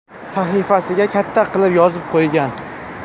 Sahifasiga katta qilib yozib qo‘ygan.